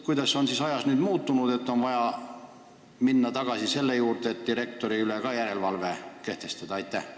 Mis nüüd on muutunud, et on vaja jälle direktorite üle järelevalve kehtestada?